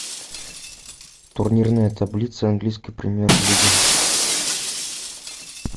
турнирная таблица английской премьер лиги